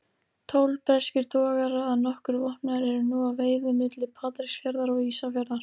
Tólf breskir togarar, að nokkru vopnaðir, eru nú að veiðum milli Patreksfjarðar og Ísafjarðar.